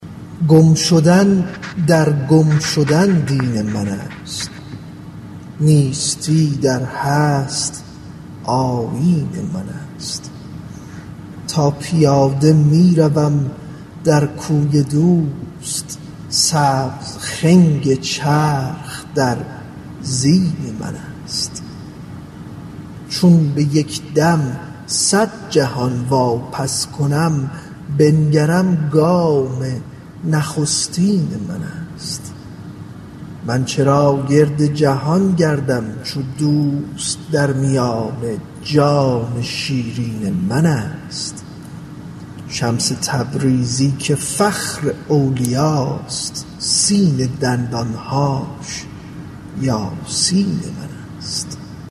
گم شدن در گم شدن دین منست نیستی در هست آیین منست تا پیاده می روم در کوی دوست سبز خنگ چرخ در زین منست چون به یک دم صد جهان واپس کنم بنگرم گام نخستین منست من چرا گرد جهان گردم چو دوست در میان جان شیرین منست شمس تبریزی که فخر اولیاست سین دندان هاش یاسین منست